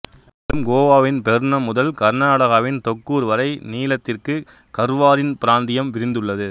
மேலும் கோவாவின் பெர்னம் முதல் கர்நாடகாவின் தொக்கூர் வரை நீளத்திற்கு கர்வாரின் பிராந்தியம் விரிந்துள்ளது